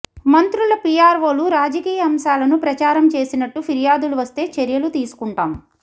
మంత్రుల పీఆర్వోలు రాజకీయ అంశాలను ప్రచారం చేసినట్టు ఫిర్యాదులు వస్తే చర్యలు తీసుకుంటాం